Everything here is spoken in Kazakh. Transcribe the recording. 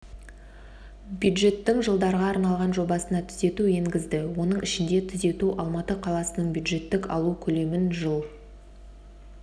бюджеттің жылдарға арналған жобасына түзету енгізді оның ішінде түзету алматы қаласының бюджеттік алу көлемін жыл